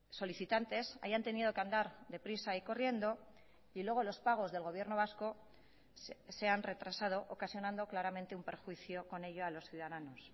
solicitantes hayan tenido que andar deprisa y corriendo y luego los pagos del gobierno vasco se han retrasado ocasionando claramente un perjuicio con ello a los ciudadanos